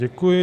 Děkuji.